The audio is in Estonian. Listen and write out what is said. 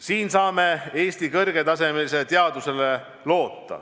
Siin saame loota Eesti kõrgetasemelisele teadusele.